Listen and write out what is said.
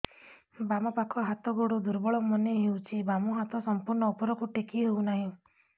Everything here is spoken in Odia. ବାମ ପାଖ ହାତ ଗୋଡ ଦୁର୍ବଳ ମନେ ହଉଛି ବାମ ହାତ ସମ୍ପୂର୍ଣ ଉପରକୁ ଟେକି ହଉ ନାହିଁ